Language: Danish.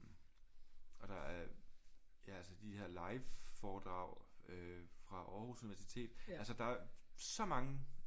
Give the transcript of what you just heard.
Og der er ja altså de her live foredrag øh fra Aarhus Universitet altså der er så mange